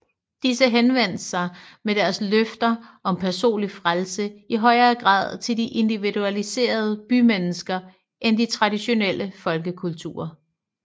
Disse henvendte sig med deres løfter om personlig frelse i højere grad til de individualiserede bymennesker end de traditionelle folkekulter